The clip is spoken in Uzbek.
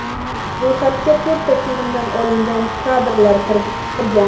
Ro‘yxatga to‘rtta filmdan olingan kadrlar kirgan.